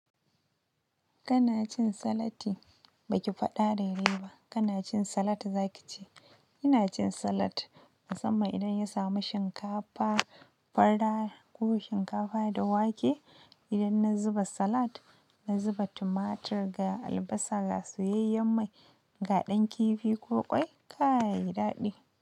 Kana cin salati, baki faɗa dai dai ba. Kana cin salat zaki ce. Ina cin salat, musamman idan ya samu shinkafa, fara ko shinkafa da wake. Idan na zuba salat, na zuba tumatur ga albasa, gasuyayyen mai, ga ɗan kifi ko ƙwai, kai yayi daɗi.